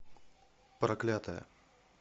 проклятая